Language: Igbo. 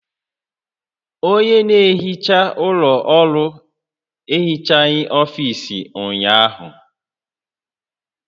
Onye na-ehicha ụlọ ọrụ ehichaghị ọfiisi ụnyaahụ